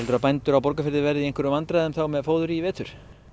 að bændur á Borgarfirði verði í einhverjum vandræðum þá með fóður í vetur